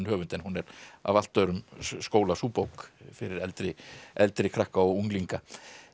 höfund en hún er af allt öðrum skóla sú bók fyrir eldri eldri krakka og unglinga